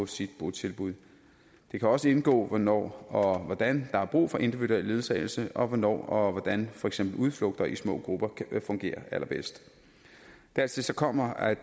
sit botilbud det kan også indgå hvornår og hvordan der er brug for individuel ledsagelse og hvornår og hvordan for eksempel udflugter i små grupper kan fungere allerbedst dertil kommer at